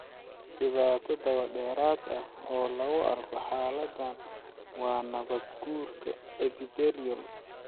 Dhibaato dabadheeraad ah oo lagu arko xaaladdan waa nabaad-guurka epithelial.